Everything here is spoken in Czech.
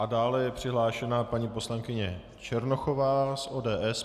A dále je přihlášena paní poslankyně Černochová z ODS.